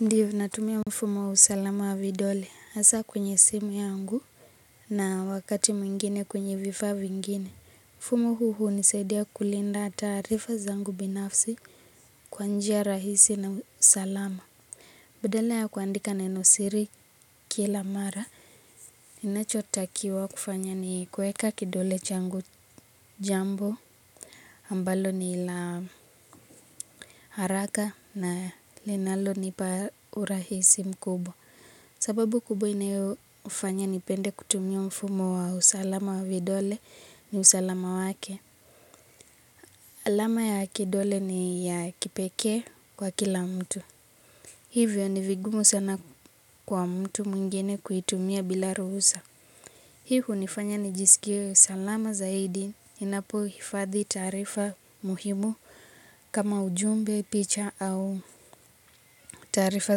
Ndiyo natumia mfumo wa usalama wa vidole asa kwenye simu yangu na wakati mwingine kwenye vifaa vingine. Mfumo huu huisaidia kulinda taarifa zangu binafsi kwanjia rahisi na usalama. Badala ya kuandika nenosiri kila mara ni nachotakiwa kufanya ni kueka kidole changu jambo. Ambalo ni la haraka na linalo ni pa urahisi mkubwa. Sababu kubwa inayo ufanya nipende kutumia mfumo wa usalama wa vidole ni usalama wake. Alama ya kidole ni ya kipekee kwa kila mtu. Hivyo ni vigumu sana kwa mtu mwingine kuitumia bila ruhusa. Hii hunifanya nijisikie usalama zaidi. Inapo hifadhi taarifa muhimu kama ujumbe picha au taarifa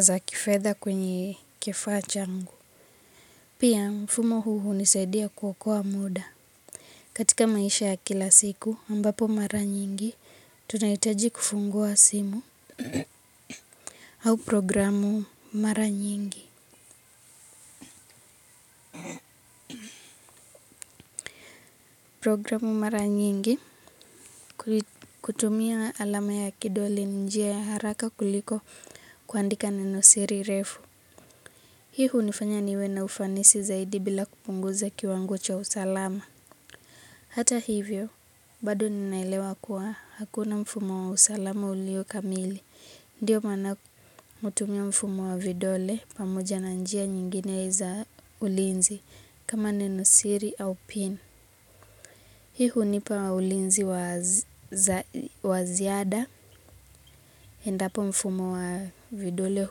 za kifedha kwenye kifaa changu. Pia mfumo huu hunisaidia kuokoa muda. Katika maisha ya kila siku ambapo mara nyingi, tunayitaji kufungua simu au programu mara nyingi. Programu mara nyingi kutumia alama ya kidoli ni njia ya haraka kuliko kuandika nenosiri refu. Hii hunifanya niwe na ufanisi zaidi bila kupunguza kiwango cha usalama. Hata hivyo, bado ninaelewa kuwa hakuna mfumo wa usalama ulio kamili. Ndiyo maana hutumia mfumo wa vidole pamoja na njia nyingine za ulinzi kama nenosiri au pin. Hii hunipa ulinzi wa ziada endapo mfumo wa vidole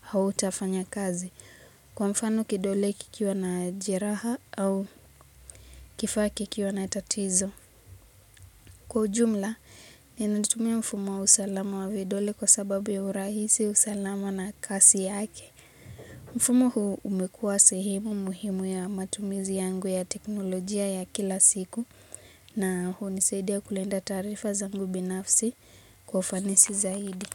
hauta fanya kazi kwa mfano kidole kikiwa na jeraha au kifaa kikiwa na tatizo. Kwa ujumla, ni natumia mfumo wa usalama wa vidole kwa sababu ya urahisi, usalama na kasi yake. Mfumo huu umekua sehimu muhimu ya matumizi yangu ya teknolojia ya kila siku na hunisadia kulinda taarifa zangu binafsi kwa ufanisi zaidi.